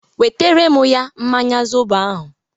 Wetere ya mmanya zobo ahụ!